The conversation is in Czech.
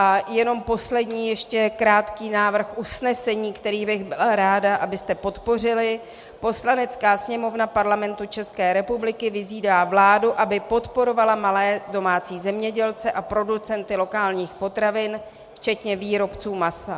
A jenom poslední ještě krátký návrh usnesení, který bych byla ráda, abyste podpořili: Poslanecká sněmovna Parlamentu České republiky vyzývá vládu, aby podporovala malé domácí zemědělce a producenty lokálních potravin včetně výrobců masa.